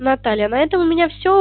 наталья на этом у меня всё